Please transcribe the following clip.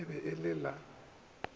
e be e le a